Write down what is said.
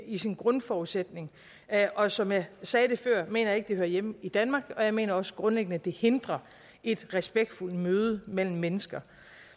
i sin grundforudsætning og som jeg sagde det før mener jeg ikke det hører hjemme i danmark og jeg mener også grundlæggende at det hindrer et respektfuldt møde mellem mennesker